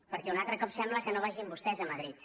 perquè un altre cop sembla que no vagi amb vostès a madrid